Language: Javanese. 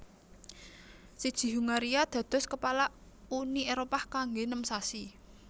Siji Hungaria dados kepala Uni Éropah kanggé nem sasi